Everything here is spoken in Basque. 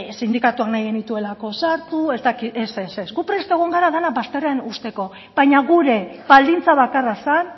sindikatuak nahi genituelako sartu ez dakit ez ez ez gu prest egon gara dena bazterrean uzteko baina gure baldintza bakarra zen